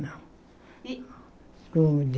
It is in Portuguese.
Não. E